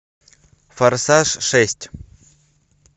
форсаж шесть